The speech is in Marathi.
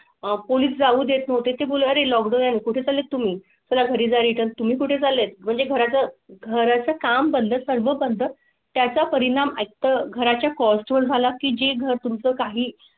पोलीस जाऊ देत नव्हते. ते बोलले लॉकडाऊन कुठे चालेल तुम्ही मला घरी रिटर्न तुम्ही कुठे चालेल म्हणजे घरा चं घरा चं काम बंद कर बनतात. त्याचा परिणाम एक तर घराच्या कॉस्ट झाला की जे घर तुम चं काही.